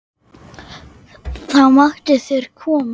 Þá mættu þeir koma.